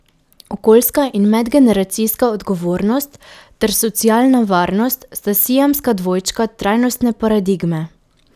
Okoljska in medgeneracijska odgovornost ter socialna varnost sta siamska dvojčka trajnostne paradigme.